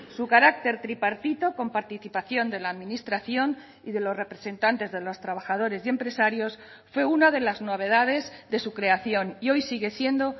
su carácter tripartito con participación de la administración y de los representantes de los trabajadores y empresarios fue una de las novedades de su creación y hoy sigue siendo